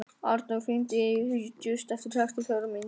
Arnór, hringdu í Júst eftir sextíu og fjórar mínútur.